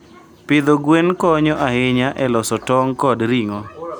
Pidho gwen konyo ahinya e loso tong' kod ring'o.